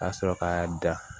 Ka sɔrɔ k'a da